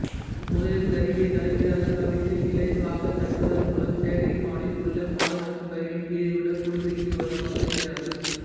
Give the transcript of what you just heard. முதலில் கருவியை தலைகீழாக கவிழ்த்து இலேசாக தட்டுவதன் மூலம் சேகரிப்பானில் உள்ள பாதரசம் கருவியின் கீழேயுள்ள குடுவைக்கு வருமாறு செய்கிறார்கள்